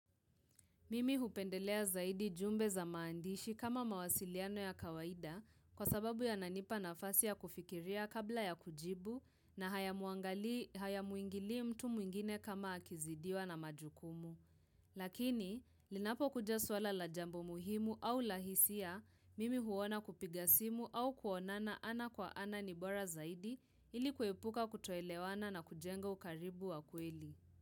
Mimi hupendelea zaidi jumbe za maandishi kama mawasiliano ya kawaida, kwa sababu yananipa nafasi ya kufikiria kabla ya kujibu, na hayamuangali hayamuingili mtu mwingine kama akizidiwa na majukumu. Lakini, linapokuja swala la jambo muhimu au la hisia, mimi huona kupiga simu au kuonana ana kwa ana ni bora zaidi, ili kuepuka kutoelewana na kujengo ukaribu wa kweli.